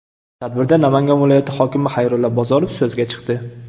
Tadbirda Namangan viloyati hokimi Xayrullo Bozorov so‘zga chiqdi.